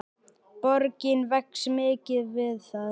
Borgin vex mikið við það.